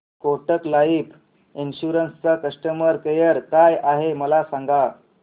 Kotak life insurance चा customer care काय आहे मला सांगा